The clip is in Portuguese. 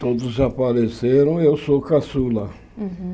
Todos apareceram, eu sou caçula.